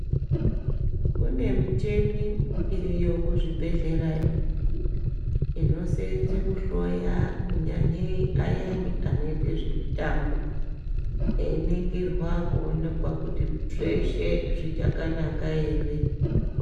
Kune micheni iriyo kuzvibhedhlera iyo inoseyenze kuhloya kunyanye ayeni anoite zvemitambo eyiningirwa kuonekwe kuti zveshe zvichakanaka ere.